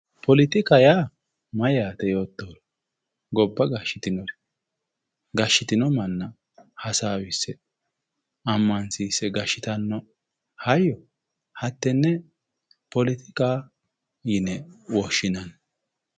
poletika yaa mayyate yoottohura gobba gashshitinori gashshitino manna hasaawisse ammansiisse gashshitanno hayyo hattenne poletikaho yine woshshinanni.